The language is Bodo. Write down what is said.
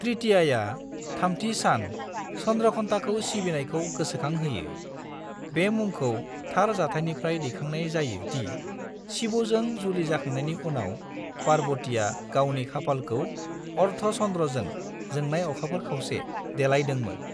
तृतीयाया (थामथि सान) चंद्रघंटाखौ सिबिनायखौ गोसोखांहोयो, बे मुंखौ थार जाथायनिफ्राय दैखांनाय जायो दि शिवजों जुलि जाखांनायनि उनाव, पार्वतीआ गावनि खाफालखौ अर्धचंद्रजों (जोंनाय अखाफोर खावसे) देलायदोंमोन।